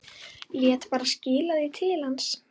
Lét bara skila því til hans!